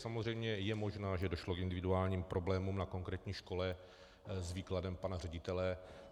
Samozřejmě je možné, že došlo k individuálním problémům na konkrétní škole s výkladem pana ředitele.